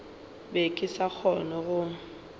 be ke sa kgone go